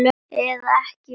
Eða ekki, hver veit?